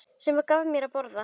Sem gaf mér að borða.